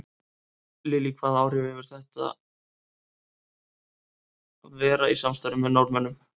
Lillý: Hvaða áhrif hefur þetta að vera í samstarfi með Norðmönnum?